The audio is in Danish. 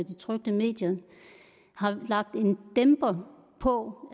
trykte medier har lagt en dæmper på